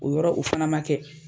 O yɔrɔ o fana ma kɛ.